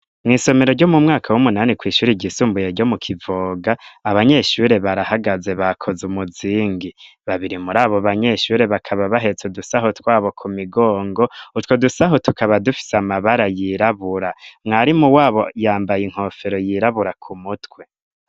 Mw'isomero ryo mu mwaka w'umunani ,kw'ishuri ryisumbuye ryo mu kivoga, Abanyeshure barahagaze bakoze umuzingi, babiri muri abo banyeshure bakaba bahetse udusaho twabo ku migongo, utwo dusaho tukaba dufise Amabara yirabura, mwarimu wabo yambaye inkofero yirabura ku mutwe.